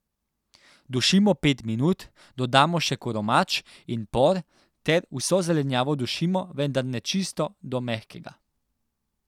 Dušimo pet minut, dodamo še koromač in por ter vso zelenjavo dušimo, vendar ne čisto do mehkega.